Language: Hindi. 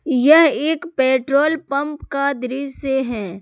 यह एक पेट्रोल पंप का दृश्य है।